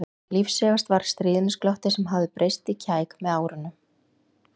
Lífseigast var stríðnisglottið sem hafði breyst í kæk með árunum.